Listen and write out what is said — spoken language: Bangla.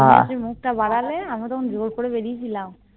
তুমি তখন মুখটা বাড়ালে আমি তখন জোর করে বেরিয়েছিলাম